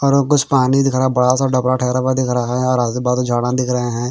और वो कुछ पानी दिख रहा हैं बड़ा सा डबरा ठहरा हुआ दिख रहा हैं और आजू बाजू झाडां दिख रहे हैं।